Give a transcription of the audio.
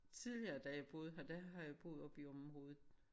Tidligere da jeg boede her der har jeg boet oppe i området